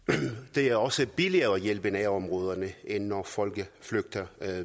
det er også billigere at hjælpe i nærområderne end når folk flygter